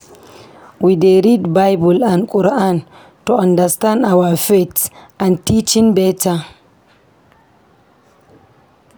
We dey read Bible and Quran to understand our faith and teachings beta.